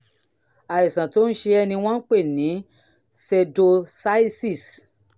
àìsàn tó ń ṣe ẹ́ ni wọ́n ń pè ní pseudocyesis